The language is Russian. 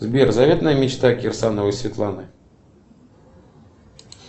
сбер заветная мечта кирсановой светланы